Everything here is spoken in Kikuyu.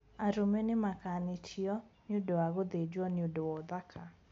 Arũme nimakanitio niundũ wa gũthinjwo niundũ wa ũthaka.